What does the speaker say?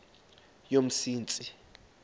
yomsintsi